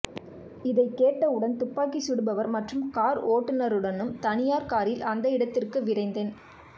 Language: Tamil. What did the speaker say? இதைக் கேட்டவுடன் துப்பாக்கி சுடுபவர் மற்றும் கார் ஓட்டுநருடனும் தனியார் காரில் அந்த இடத்திற்கு விரைந்தேன்